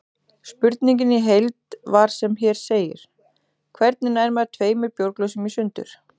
Spurningin í heild var sem hér segir: Hvernig nær maður tveimur bjórglösum í sundur?